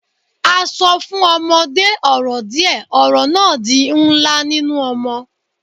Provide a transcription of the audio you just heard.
A so fun omode oro die, oro na di nla ninu omo